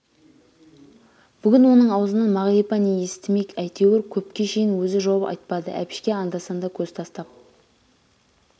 бүгін оның аузынан мағрипа не естімек әйтеуір көпке шейін өзі жауап айтпады әбішке анда-санда көз тастап